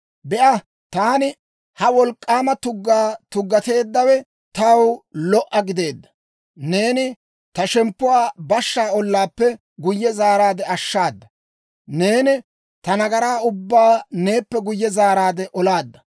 Be'a, taani ha wolk'k'aama tuggaa tuggateeddawe taw lo"a gideedda. Neeni ta shemppuwaa bashshaa ollaappe guyye zaaraade ashshaada; neeni ta nagaraa ubbaa neeppe guyye zaaraade olaadda.